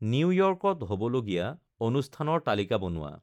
নিউয়ৰ্ক'ত হ'ব লগীয়া অনুষ্ঠানৰ তালিকা বনোৱা